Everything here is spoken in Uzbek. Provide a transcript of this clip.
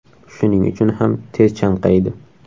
Shuning uchun ham tez chanqaydi.